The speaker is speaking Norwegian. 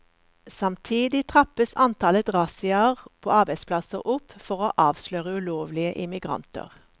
Samtidig trappes antallet razziaer på arbeidsplasser opp for å avsløre ulovlige immigranter.